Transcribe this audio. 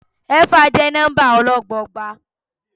Éfà jẹ́ nọ́mbà ọlọ́gbọọgba.